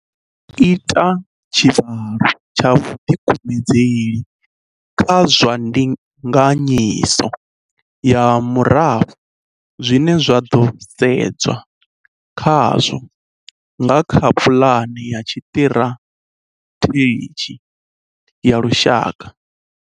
Ro ita tshivhalo tsha vhuḓikumedzeli kha zwa Ndinganyiso ya Murafho zwine zwa ḓo sedzwa khazwo nga kha Pulane ya Tshiṱirathedzhi ya Lushaka.